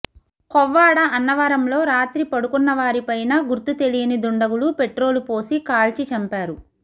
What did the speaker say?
కొవ్వాడ అన్నవరంలో రాత్రి పడుకున్న వారి పైన గుర్తు తెలియని దుండగులు పెట్రోలు పోసి కాల్చి చంపారు